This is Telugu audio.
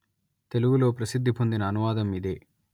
తెలుగులో ప్రసిద్ధి పొందిన అనువాదం ఇదే